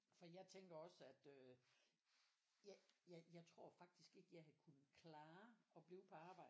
For jeg tænker også at øh jeg jeg tror faktisk ikke jeg havde kunne klare at blive på arbejde